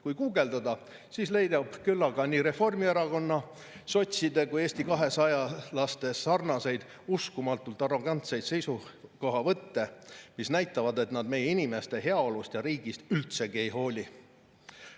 Kui guugeldada, siis leidub küllaga nii Reformierakonna, sotside kui ka Eesti 200 uskumatult arrogantseid seisukohavõtte, mis näitavad, et nad meie inimeste heaolust ja riigist üldsegi ei hooli.